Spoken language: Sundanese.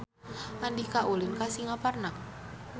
Andika ulin ka Singaparna